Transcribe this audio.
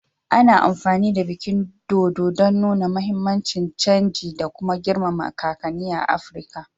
Ana amfani da bikin dodo don nuna muhimmin canji da kuma girmama kakanni a Afirka